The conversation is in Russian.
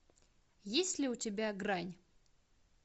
есть ли у тебя грань